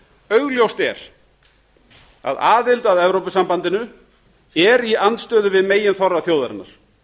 augljóst er að aðild að evrópusambandinu er í andstöðu við meginþorra þjóðarinnar